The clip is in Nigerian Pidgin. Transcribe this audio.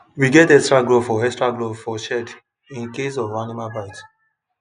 we get extra glove for extra glove for shed in case of animal bite